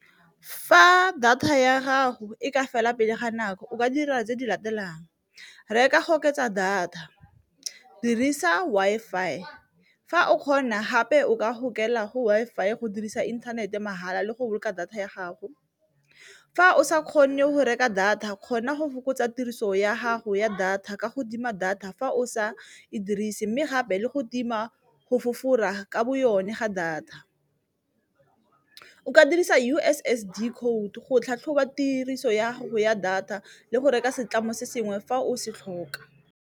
Fa data ya gago e ka fela pele ga nako o ka dira tse di latelang reka go oketsa data, dirisa Wi-Fi i fa o kgona gape o ka gokela go Wi-Fi e go dirisa inthanete mahala le go boloka data ya gago. Fa o sa kgone go reka data kgona go fokotsa tiriso ya gago ya data ka go tima data fa o sa e dirise, mme gape le go tima go fofara one ga data. O ka dirisa U_S_S_D code go tlhatlhoba tiriso ya ya data le go reka setlamo se sengwe fa o se tlhoka.